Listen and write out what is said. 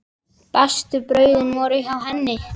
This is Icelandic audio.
Bestu brauðin voru hjá henni.